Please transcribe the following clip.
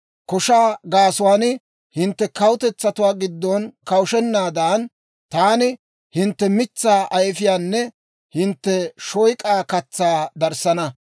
Koshaa gaasuwaan hintte kawutetsatuwaa giddon kawushshennaadan, taani hintte mitsaa ayifiyaanne hintte shoyk'aa katsaa darissana.